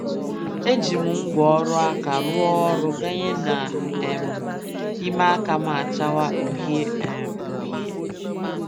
E ji m ngwáọrụ aka rụọ ọrụ ganye na um ime aka m achawa uhie um uhie.